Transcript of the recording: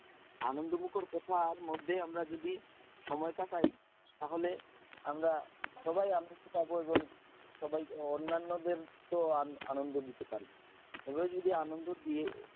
আনন্দ মুখর কথার মধ্যে আমরা যদি সময় কাটাই তাহলে আমরা সবাই আনন্দে থাকব, এবং সবাই অন্যান্য দের কেও আনন্দ দিতে পারব, এভাবে যদি আনন্দ দিয়ে,